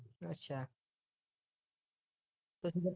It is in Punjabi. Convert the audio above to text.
ਅੱਛਾ ਤੁਸੀਂ ਫਿਰ